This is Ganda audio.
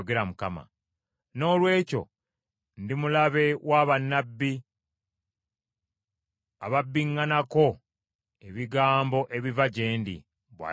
“Noolwekyo, ndi mulabe wa bannabbi ababbiŋŋanako ebigambo ebiva gye ndi,” bw’ayogera Mukama .